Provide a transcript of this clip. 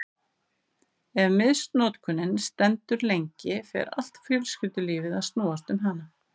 Ef misnotkunin stendur lengi fer allt fjölskyldulífið að snúast um hana.